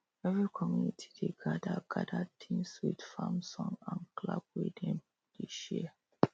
every community dey gather gather tins with farm song and clap wey dem dey share